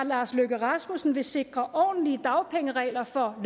lars løkke rasmussen vil sikre ordentlige dagpengeregler for